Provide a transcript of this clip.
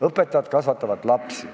Õpetajad kasvatavad lapsi.